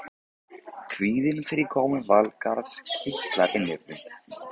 Kvíðinn fyrir komu Valgarðs kitlar innyflin.